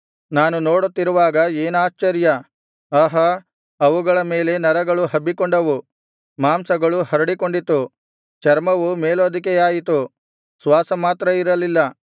ನಾನು ನೋಡುತ್ತಿರುವಾಗ ಏನಾಶ್ಚರ್ಯ ಆಹಾ ಅವುಗಳ ಮೇಲೆ ನರಗಳು ಹಬ್ಬಿಕೊಂಡವು ಮಾಂಸವು ಹರಡಿಕೊಂಡಿತು ಚರ್ಮವು ಮೇಲ್ಹೊದಿಕೆಯಾಯಿತು ಶ್ವಾಸ ಮಾತ್ರ ಇರಲಿಲ್ಲ